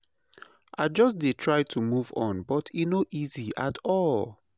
I just dey try to move on but e no easy at all.